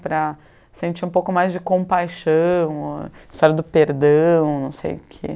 para sentir um pouco mais de compaixão, a história do perdão, não sei o que.